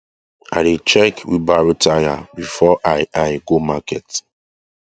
i dey check wheelbarrow tyre before i i go market